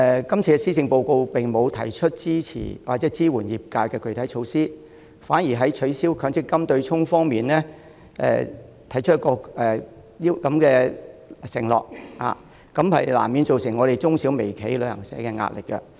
今次的施政報告並沒有提出支持或支援業界的具體措施，反而在取消強制性公積金對沖方面作出承諾，這難免對我們屬於中、小、微企的旅行社造成壓力。